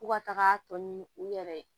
Fo ka taga tɔ ɲini u yɛrɛ ye